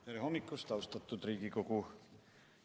Tere hommikust, austatud Riigikogu!